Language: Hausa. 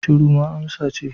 Shiru ma amsa ce